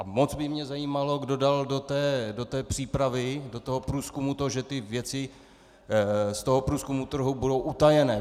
A moc by mě zajímalo, kdo dal do té přípravy, do toho průzkumu to, že ty věci z toho průzkumu trhu budou utajené.